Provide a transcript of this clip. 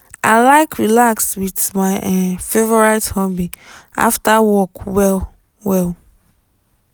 i like relax with my um favorite hobby after work well well.